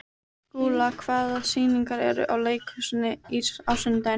Skúla, hvaða sýningar eru í leikhúsinu á sunnudaginn?